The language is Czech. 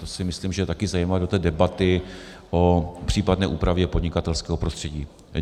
To si myslím, že je také zajímavé do té debaty o případné úpravě podnikatelského prostředí.